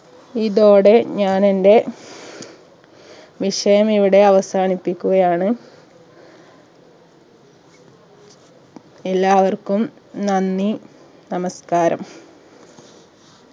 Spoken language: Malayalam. ഇതോടെ ഞാൻ എന്റെ വിഷയം ഇവിടെ അവസാനിപ്പിക്കുകയാണ് എല്ലാവർക്കും നന്ദി നമസ്ക്കാരം